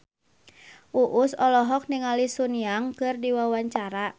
Uus olohok ningali Sun Yang keur diwawancara